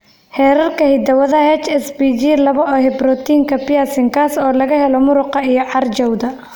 Xeerarka hidda-wadaha HSPG laba ee borotiinka perlecan, kaas oo laga helo muruqa iyo carjawda.